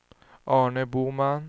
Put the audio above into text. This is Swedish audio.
Arne Boman